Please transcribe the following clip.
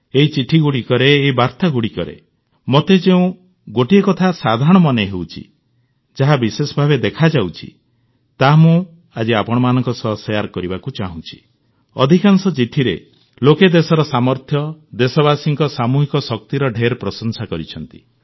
ଏହି ଚିଠିଗୁଡ଼ିକରେ ଏହି ବାର୍ତ୍ତାଗୁଡ଼ିକରେ ମୋତେ ଯେଉଁ ଗୋଟିଏ କଥା ସାଧାରଣ ମନେ ହେଉଛି ଯାହା ବିଶେଷଭାବେ ଦେଖାଯାଉଛି ତାହା ମୁଁ ଆଜି ଆପଣମାନଙ୍କ ସହ ଶେୟାର ବାଣ୍ଟିବାକୁ ଚାହୁଁଛି ଅଧିକାଂଶ ଚିଠିରେ ଲୋକେ ଦେଶର ସାମର୍ଥ୍ୟ ଦେଶବାସୀଙ୍କ ସାମୂହିକ ଶକ୍ତିର ଢେର ପ୍ରଶଂସା କରିଛନ୍ତି